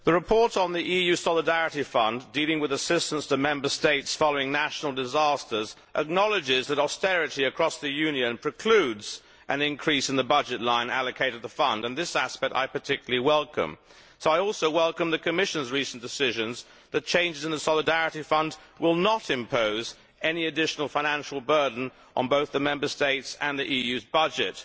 Mr President, the report on the EU Solidarity Fund dealing with assistance to Member States following national disasters, acknowledges that austerity across the Union precludes an increase in the budget line allocated to the Fund and this aspect I particularly welcome. So I also welcome the Commission's recent decisions that changes in the Solidarity Fund will not impose any additional financial burden on both the Member States and the EU's budget.